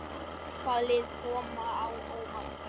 Hvaða lið koma á óvart?